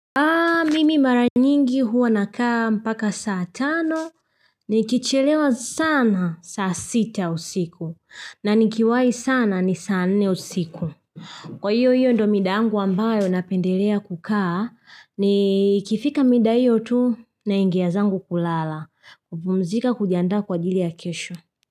Mimi mara nyingi huwa nakaa mpaka saa tano nikichelewa sana saa sita usiku na nikiwahi sana ni saa nne usiku. Kwa hiyo hiyo ndo mida yangu ambayo napendelea kukaa nikifika mida hiyo tu naingia zangu kulala kupumzika kujiandaa kwa ajili ya kesho.